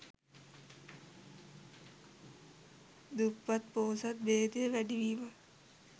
දුප්පත් පොහොසත් භේදය වැඩිවීම